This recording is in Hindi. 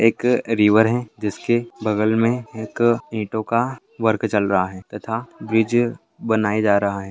एक रिवर है जिसके बगल में एक ईंटों का वर्क चल रहा है तथा ब्रिज बनाए जा रहा है।